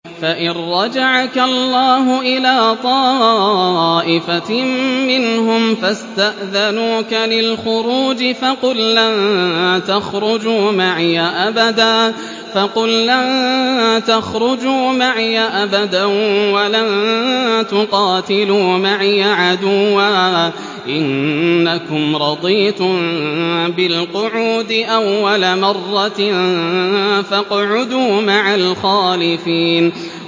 فَإِن رَّجَعَكَ اللَّهُ إِلَىٰ طَائِفَةٍ مِّنْهُمْ فَاسْتَأْذَنُوكَ لِلْخُرُوجِ فَقُل لَّن تَخْرُجُوا مَعِيَ أَبَدًا وَلَن تُقَاتِلُوا مَعِيَ عَدُوًّا ۖ إِنَّكُمْ رَضِيتُم بِالْقُعُودِ أَوَّلَ مَرَّةٍ فَاقْعُدُوا مَعَ الْخَالِفِينَ